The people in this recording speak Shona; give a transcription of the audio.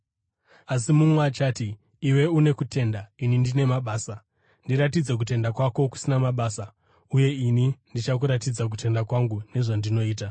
Asi mumwe achati, “Iwe une kutenda; ini ndine mabasa.” Ndiratidze kutenda kwako kusina mabasa, uye ini ndichakuratidza kutenda kwangu nezvandinoita.